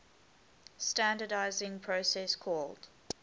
standardizing process called